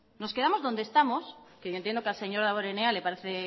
que yo entiendo que al señor damborenea le parece